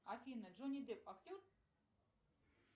афина джонни депп актер